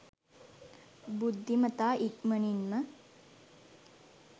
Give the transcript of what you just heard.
බුද්ධිමතා ඉක්මනින්ම